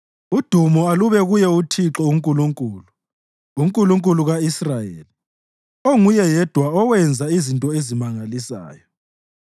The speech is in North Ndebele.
Udumo alube kuye uThixo uNkulunkulu, uNkulunkulu ka-Israyeli, onguye yedwa owenza izinto ezimangalisayo.